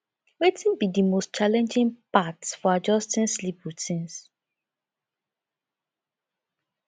wetin be di most challenging part for adjusting sleep routines